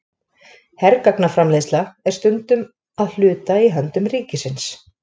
Hergagnaframleiðsla er stundum að hluta í höndum ríkisins.